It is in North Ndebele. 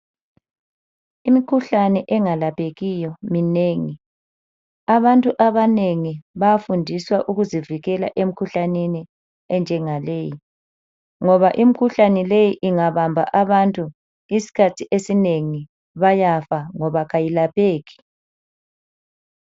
Imikhuhlane engalaphekiyo iminengi. Abantu abanengi bayafundiswa ukuzivikela emkhuhlaneni enjengaleyi, ngoba imikhuhlane leyi ingabamba abantu isikhathi esinengi bayafa ngoba kayilapheki.